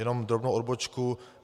Jenom drobnou odbočku.